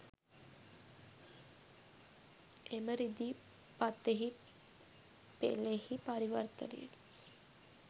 එම රිදී පතෙහි පෙළෙහි පරිවර්තනය